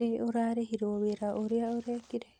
Nĩ ũrarĩhirwo wĩra ũrĩa ũrekire?